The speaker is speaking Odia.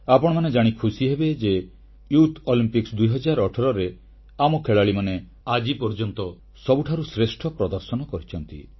ଆପଣମାନେ ଜାଣି ଖୁସି ହେବେ ଯେ ଯୁବ ଅଲିମ୍ପିକ୍ସ 2018ରେ ଆମ ଖେଳାଳିମାନେ ଆଜି ପର୍ଯ୍ୟନ୍ତ ସବୁଠାରୁ ଶ୍ରେଷ୍ଠ ପ୍ରଦର୍ଶନ କରିଛନ୍ତି